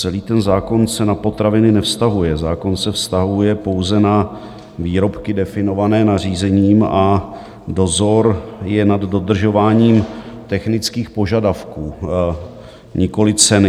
Celý ten zákon se na potraviny nevztahuje, zákon se vztahuje pouze na výrobky definované nařízením a dozor je nad dodržováním technických požadavků, nikoliv ceny.